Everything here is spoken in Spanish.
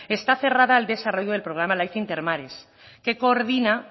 está aferrado al desarrollo del programa life intermares que coordina